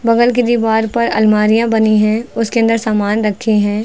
बगल के दीवार पर अलमारियां बनी हैं उसके अंदर सामान रखे हैं।